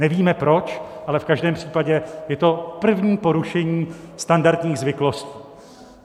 Nevíme proč, ale v každém případě je to první porušení standardních zvyklostí.